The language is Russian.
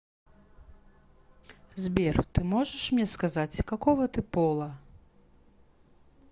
сбер ты можешь мне сказать какого ты пола